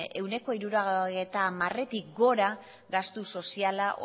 ehuneko hirurogeita hamaretik gora gastu soziala